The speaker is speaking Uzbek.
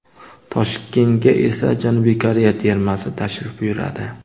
Toshkentga esa Janubiy Koreya termasi tashrif buyuradi.